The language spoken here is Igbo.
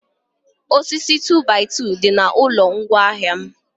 osisi 2by2 dị na ụlọ ngwa ahịa m